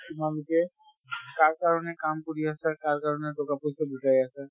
তোমালোকে কাৰ কাৰণে কাম কৰি আছে, কাৰ কাৰণে টকা পইছা গোতাই আছে